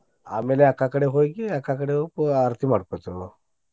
ಆಮೇಲೆ ಅಕ್ಕಾ ಕಡೆ ಹೋಗಿ ಅಕ್ಕಾ ಕಡೆ ಹೊಕ್ಕೇವು ಆರ್ತಿ ಮಾಡ್ಕೊತೇವು.